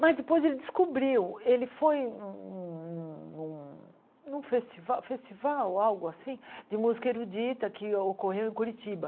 Mas depois ele descobriu, ele foi num num num num festival festival, algo assim, de música erudita que ocorreu em Curitiba.